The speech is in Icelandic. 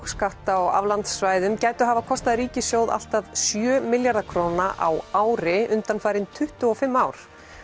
lágskátta og aflandssvæðum gætu hafa kostað ríkissjóð allt að sjö milljarða króna á ári undanfarin tuttugu og fimm ár